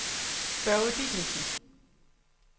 Børge Dideriksen